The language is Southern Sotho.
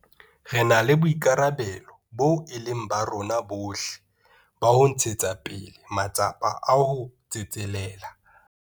Re na le boikarabelo boo e leng ba rona bohle ba ho ntshetsa pele matsapa a ho tsetselela.